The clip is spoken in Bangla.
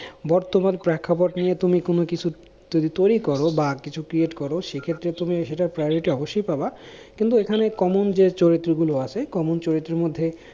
বর্তমান প্রেক্ষাপট নিয়ে তুমি কোনো কিছু যদি তৈরী করো বা কিছু create করো সেইক্ষেত্রে তুমি সেটার priority অবশ্যই পাবা, কিন্তু এখানে common যে চরিত্রগুলো আছে common চরিত্রর মধ্যে